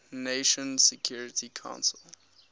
nations security council